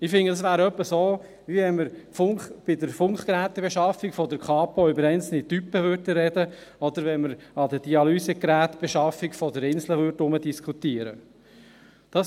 Ich finde, es wäre etwa so, wie wenn wir bei der Funkgerätebeschaffung der Kantonspolizei (Kapo) über einzelne Typen sprechen würden, oder wie wenn wir an der Dialysegerätebeschaffung des Inselspitals herumdiskutieren würden.